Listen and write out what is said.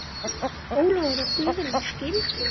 Ólafur og Guðrún skildu.